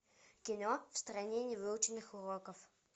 кино в стране невыученных уроков